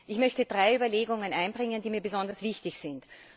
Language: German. Ich möchte drei Überlegungen einbringen, die mir besonders wichtig sind.